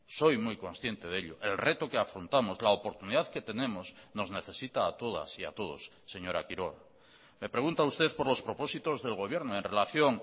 soy muy consciente de ello el reto que afrontamos la oportunidad que tenemos nos necesita a todas y a todos señora quiroga me pregunta usted por los propósitos del gobierno en relación